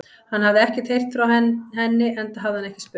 Hann hafði ekkert heyrt frá henni, enda hafði hann ekki spurt.